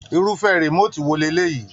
Irufẹ remotii wo leleyii?